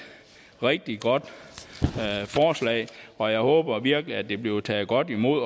rigtig godt forslag og jeg håber virkelig det bliver taget godt imod